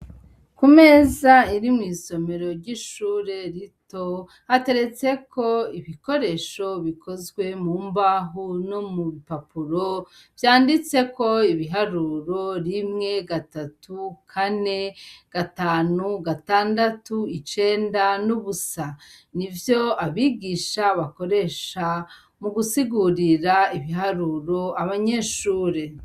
Ku meza iri mw'isomero ry'ishure rito, hateretseko ibikoresho bikozwe mu mbaho no mu bipapuro, vyanditseko ibiharuro rimwe, gatatu, kane, gatanu, gatandatu, icenda n'ubusa. Ni vyo abigisha bakoresha mu gusigurira ibiharuro abanyeshure.